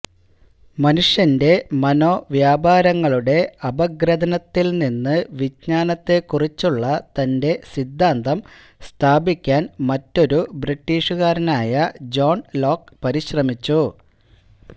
മനുഷ്യന്റെ മനോവ്യാപാരങ്ങളുടെ അപഗ്രഥനത്തിൽനിന്ന് വിജ്ഞാനത്തെക്കുറിച്ചുള്ള തന്റെ സിദ്ധാന്തം സ്ഥാപിക്കാൻ മറ്റൊരു ബ്രിട്ടിഷുകാരനായ ജോൺ ലോക്ക് പരിശ്രമിച്ചു